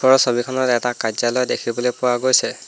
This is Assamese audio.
ওপৰৰ ছবিখনত এটা কাৰ্য্যালয় দেখিবলৈ পোৱা গৈছে।